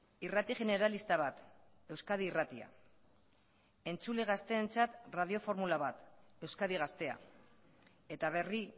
irrati generalista bat euskadi irratia entzule gazteentzat radioformula bat euskadi gaztea eta berri